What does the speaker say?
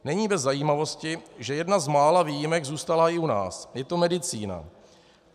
Není bez zajímavosti, že jedna z mála výjimek zůstala i u nás - je to medicína.